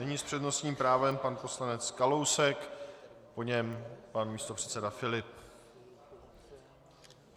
Nyní s přednostním právem pan poslanec Kalousek, po něm pan místopředseda Filip.